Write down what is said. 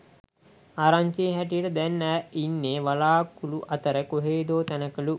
ආරංචියේ හැටියට දැන් ඈ ඉන්නෙ වළාකුළු අතර කොහෙදෝ තැනකලූ.